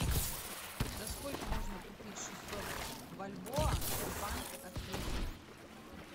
за сколько можно купить шестьсот бальбоа в банке открытие